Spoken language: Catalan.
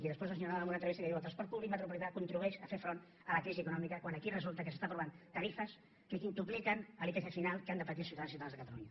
i després el senyor nadal en una entrevista que diu el transport públic metropolità contribueix a fer front a la crisi econòmica quan aquí resulta que s’estan aprovant tarifes que quintupliquen l’ipc final que han de patir els ciutadans i ciutadanes de catalunya